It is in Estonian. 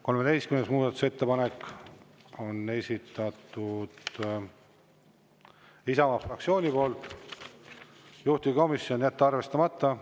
Muudatusettepanek nr 13, selle on esitanud Isamaa fraktsioon, juhtivkomisjon: jätta arvestamata.